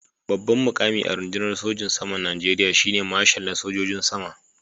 Babban mukami a rundunar sojin saman Najeriya shi ne Marshal na sojojin sama